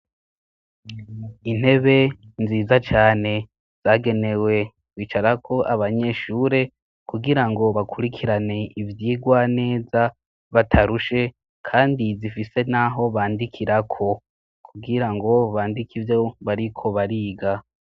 Intebe nziza cane zagenewe bicarako abanyeshure kugira ngo bakurikirane ivyigwa neza batarushe. Kandi zifise n'aho bandikirako kugira ngo bandike ivyo bariko bariga.